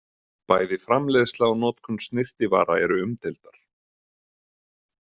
Bæði framleiðsla og notkun snyrtivara eru umdeildar.